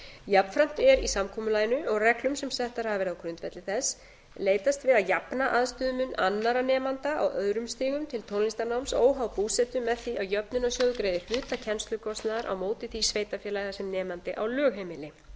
jafnframt er í samkomulaginu og reglum sem settar hafa verið á grundvelli þess leitast við að jafna aðstöðumun annarra nemenda á öðrum stigum til tónlistarnáms óháð búsetu með því að jöfnunarsjóður greiði hluta kennslukostnaðar á móti því sveitarfélagi þar sem nemandi á lögheimili